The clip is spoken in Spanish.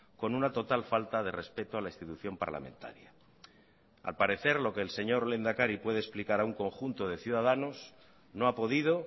con una total falta de respeto a la institución parlamentaria al parecer lo que el señor lehendakari puede explicar a un conjunto de ciudadanos no ha podido